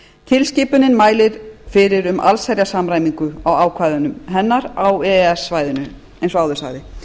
tilskipunin mælir fyrir um allsherjarsamræmingu á ákvæðum hennar á e e s svæðinu eins og áður sagði